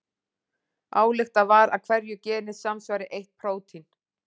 Ályktað var að hverju geni samsvari eitt prótín.